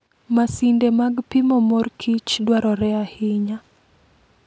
Masinde mag pimo mor kich dwarore ahinya.